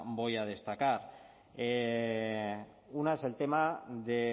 voy a destacar una es el tema de